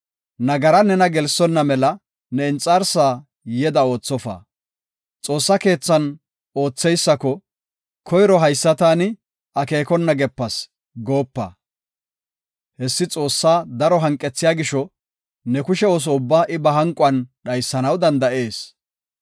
Nagaran nena gelsonna mela ne inxarsa yeda oothofa. Xoossa keethan ootheysako, “Koyro haysa taani akeekona gepas” goopa. Hessi Xoossa daro hanqethiya gisho, ne kushe ooso ubbaa I ba hanquwan dhaysanaw danda7ees.